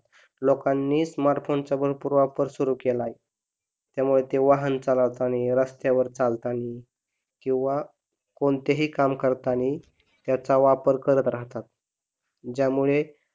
लोकांनी smart phone चा पण भरपूर वापर सुरु केला आहे त्यामुळे ते वाहन चालवताना रस्त्यावर चालताना किंवा कोठेही काम करताना त्याचा वापर करत राहतात. ज्यामुळे